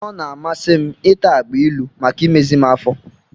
Ọ na-amasị m ịta agbailu maka imezi m afọ.